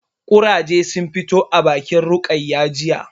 Ƙurage sun fito a bakin Rukayya jiya